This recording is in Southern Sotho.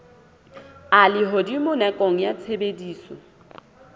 a lehodimo nakong ya tshebediso